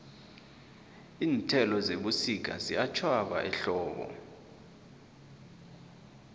iinthelo zebusika ziyatjhwaba ehlobo